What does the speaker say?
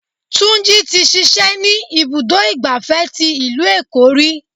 Túnjí tí ṣíṣe ni ibùdó igbàfẹ́ tí ìlú Èkó ríi.